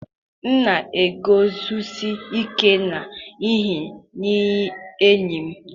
m na-eguzosi ike n'ihe nye enyi m.